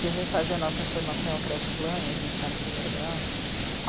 Quem vem fazer a nossa formação é o creche plan e a gente está no primeiro grau.